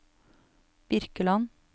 Birkeland